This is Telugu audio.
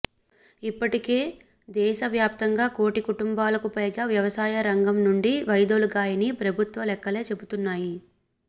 ఇప్పటికే దేశ వ్యాప్తంగా కోటి కుటుంబాలకు పైగా వ్యవసాయ రంగం నుండి వైదొలిగాయని ప్రభుత్వ లెక్కలే చెపుతున్నాయి